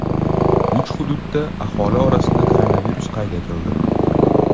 Uch hududda aholi orasida koronavirus qayd etildi.